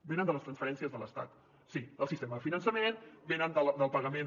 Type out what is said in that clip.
venen de les transferències de l’estat sí del sistema de finançament venen del pagament